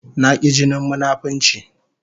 I hate hypocrisy